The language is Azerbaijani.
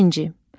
İkinci.